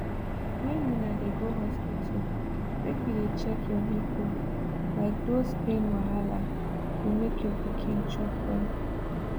when una dey go hospital make you dey check your nipple like those pain wahala go make your pikin chop well